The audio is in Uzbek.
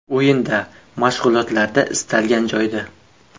O‘yinda, mashg‘ulotlarda istalgan joyda.